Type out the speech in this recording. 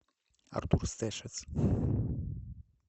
артур стешец